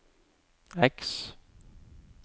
X